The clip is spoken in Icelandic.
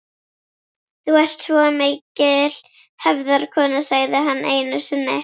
Þú ert svo mikil hefðarkona, sagði hann einu sinni.